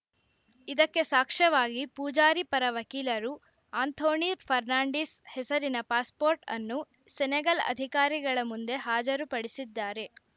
ಇದಕ್ಕೆ ಸಾಕ್ಷ್ಯವಾಗಿ ಪೂಜಾರಿ ಪರ ವಕೀಲರು ಆಂಥೋಣಿ ಫರ್ನಾಂಡಿಸ್‌ ಹೆಸರಿನ ಪಾಸ್‌ಪೋರ್ಟ್‌ ಅನ್ನು ಸೆನೆಗಲ್‌ ಅಧಿಕಾರಿಗಳ ಮುಂದೆ ಹಾಜರುಪಡಿಸಿದ್ದಾರೆ